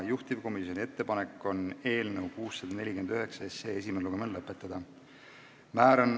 Juhtivkomisjoni ettepanek on eelnõu 649 esimene lugemine lõpetada.